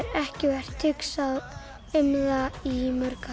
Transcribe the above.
ekki verið hugsað um það í mörg